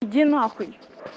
иди нахуй